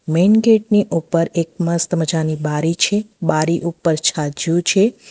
Main gate ની ઉપર એક મસ્ત મજાની બારી છે બારી ઉપર છાજિયુ છે.